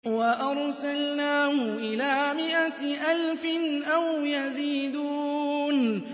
وَأَرْسَلْنَاهُ إِلَىٰ مِائَةِ أَلْفٍ أَوْ يَزِيدُونَ